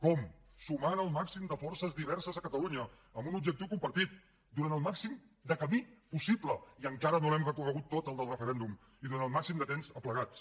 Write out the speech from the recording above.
com sumant el màxim de forces diverses a catalunya amb un objectiu compartit durant el màxim de camí possible i encara no l’hem recorregut tot el del referèndum i durant el màxim de temps aplegats